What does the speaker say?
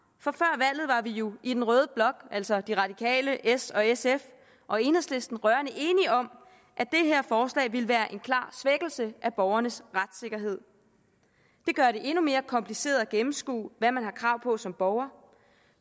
og vi jo i den røde blok altså de radikale s sf og enhedslisten rørende enige om at det her forslag ville være en klar svækkelse af borgernes retssikkerhed det gør det endnu mere kompliceret at gennemskue hvad man har krav på som borger